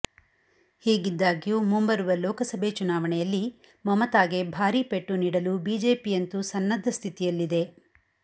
ಹೀಗಿದ್ದಾಗ್ಯೂ ಮುಂಬರುವ ಲೋಕಸಭೆ ಚುನಾವಣೆಯಲ್ಲಿ ಮಮತಾಗೆ ಭಾರಿ ಪೆಟ್ಟು ನೀಡಲು ಬಿಜೆಪಿಯಂತೂ ಸನ್ನದ್ಧ ಸ್ಥಿತಿಯಲ್ಲಿದೆ